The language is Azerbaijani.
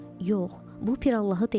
Yox, bu Piralalahı deyil.